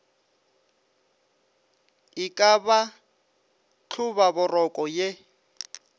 e ka ba hlobaboroko ye